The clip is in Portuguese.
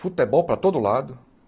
Futebol para todo lado.